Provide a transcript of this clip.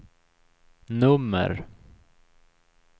nummer